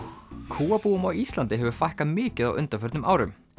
kúabúum á Íslandi hefur fækkað mikið á undanförnum árum